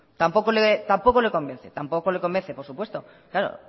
tampoco le convence por supuesto claro